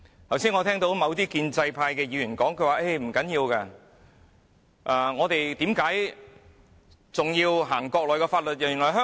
我剛才聽到某些建制派議員說，不要緊，為何要實施內地法律呢？